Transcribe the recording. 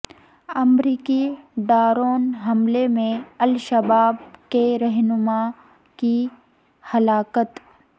امریکی ڈرون حملے میں الشباب کے رہنما کی ہلاکت